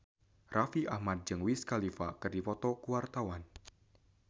Raffi Ahmad jeung Wiz Khalifa keur dipoto ku wartawan